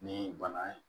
Ni bana ye